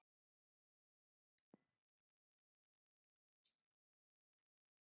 Ónefndur fréttamaður: Vissir þú ekki af skuldastöðunni?